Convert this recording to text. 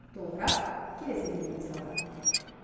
толығырақ келесі бейнематериалда